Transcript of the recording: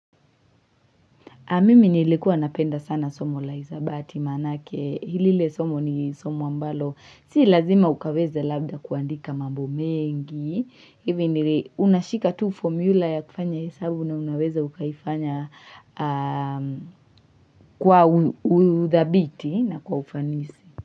Mimi nilikuwa napenda sana somo la hisabati maana yake. Lile somo ni somo ambalo. Sii lazima ukaweza labda kuandika mambo mengi. Hivi nili unashika tu formula ya kufanya hesabu na unaweza ukaifanya kwa uthabiti na kwa ufanisi.